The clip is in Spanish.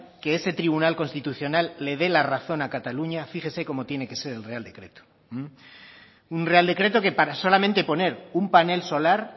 que ese tribunal constitucional le dé la razón a cataluña fíjese cómo tiene que ser el real decreto un real decreto que para solamente poner un panel solar